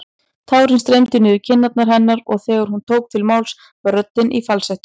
Tárin streymdu niður kinnar hennar og þegar hún tók til máls var röddin í falsettu.